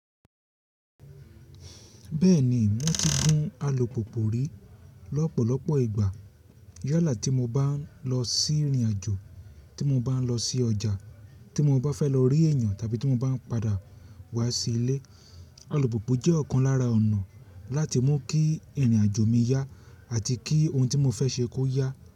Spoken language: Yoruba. Bẹ́ẹ̀ni, mo ti gún alùpùpù rí lọ́pọ̀lọpọ̀ ìgbà. Yálà tí mo bá ń lọ sí ìrìnàjò, tí mo bá ń lọ sí ọjà, tí mo bá fẹ́ lọ rí èèyàn tàbí tí mo bá ń padà wá sí ilé. Alùpùpù jẹ́ ọ̀kan lára ọ̀nà láti mú kí ìrìnàjò mi yá àti kí ohun tí mo fẹ́ ṣe kó yá.